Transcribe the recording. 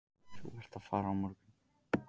Þú ert að fara á morgun.